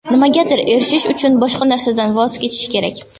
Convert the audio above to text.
Nimagadir erishish uchun, boshqa narsadan voz kechish kerak.